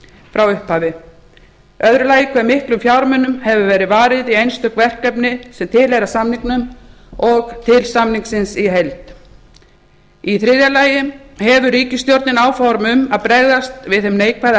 frá upphafi annar hve miklir fjármunir hafa verið veittir til einstakra verkefna sem tilheyra samningnum og til samningsins í heild þriðji hefur ríkisstjórnin áform um að bregðast við þeim neikvæða